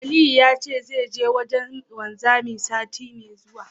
Aliyu ya ce zai je wajen wanzami, sati mai zuwa.